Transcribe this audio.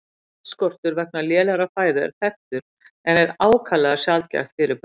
Járnskortur vegna lélegrar fæðu er þekktur en er ákaflega sjaldgæft fyrirbæri.